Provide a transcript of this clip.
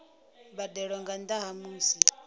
mbadelo nga nnda ha musi